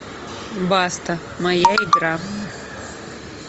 баста моя игра